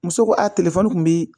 Muso ko a te kun bi